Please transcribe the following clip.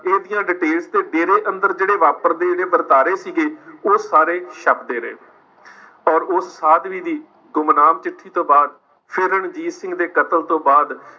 case ਦੀਆਂ details ਤੇ ਡੇਰੇ ਅੰਦਰ ਜਿਹੜੇ ਵਾਪਰਦੇ ਰਹੇ ਵਰਤਾਰੇ ਸੀ ਗੇ ਉਹ ਸਾਰੇ ਛੱਪਦੇ ਰਹੇ। ਪਰ ਉਸ ਸਾਧਵੀ ਦੀ ਗੁਮਨਾਮ ਚਿੱਠੀ ਤੋਂ ਬਾਅਦ, ਫਿਰ ਰਣਜੀਤ ਸਿੰਘ ਦੇ ਕਤਲ ਤੋਂ ਬਾਅਦ